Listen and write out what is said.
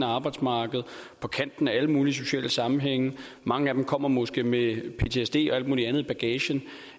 arbejdsmarkedet og på kanten af alle mulige sociale sammenhænge mange af dem kommer måske med ptsd og alt mulig andet i bagagen